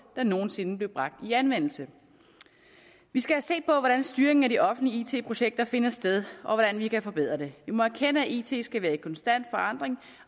der nogen sinde blev bragt i anvendelse vi skal se på hvordan styringen af de offentlige it projekter finder sted og hvordan vi kan forbedre det vi må erkende at it skal være i konstant forandring